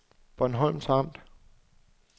Bornholms Amt